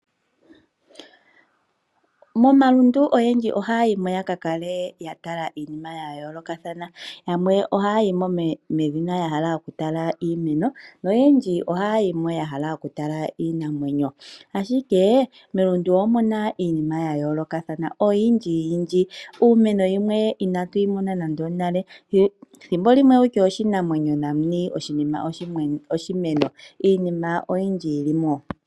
Momalundu oyendji ohaya yimo yaka tale iinima yayoolokathana, yamwe ohaya yimo medhina yaka tale iimeno noyendji ohaya yimo medhina yahala okutala iinamwenyo, ahike melundu omuna iinima yayoolokathana oyindjiyindji, iimeno yimwe inatuyi mona nando onale thimbolimwe wutya oshinamwenyo nani oshinima oshimeno iinima oyindji yili mo.